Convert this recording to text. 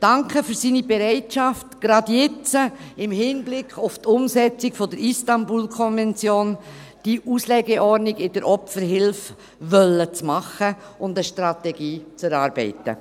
Ich danke für seine Bereitschaft, gerade jetzt, im Hinblick auf die Umsetzung der Istanbul-Konvention, die Auslegeordnung in der Opferhilfe machen zu wollen und eine Strategie zu erarbeiten.